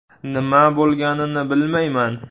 Nima bo‘lganini bilmayman.